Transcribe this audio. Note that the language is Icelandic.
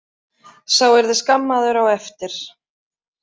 Sá yrði skammaður á eftir.